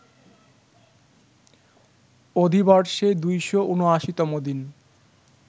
অধিবর্ষে ২৭৯ তম দিন